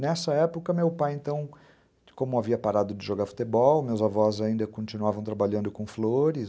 Nessa época, meu pai, como havia parado de jogar futebol, meus avós ainda continuavam trabalhando com flores.